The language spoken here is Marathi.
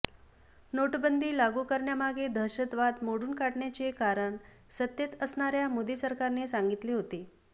नोटबंदी लागू करण्यामागे दहशतवाद मोडून काढण्याचे कारण सत्तेत असणाऱ्या मोदी सरकारने सांगितले होते